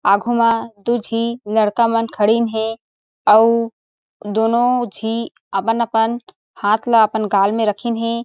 आगू मा दू झी लड़का मन खडीन हे अउ दुनो झी अपन-अपन हाथ ल अपन गाल रखीन हे।